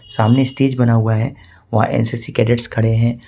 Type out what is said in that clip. सामने स्टेज बना हुआ है वह एन_सी_सी कैडेट्स खड़े हैं।